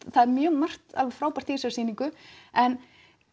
það er mjög margt alveg frábært í þessari sýningu en